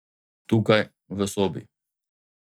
Tukaj, v sobi.